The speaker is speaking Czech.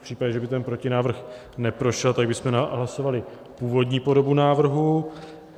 V případě, že by ten protinávrh neprošel, tak bychom hlasovali původní podobu návrhu.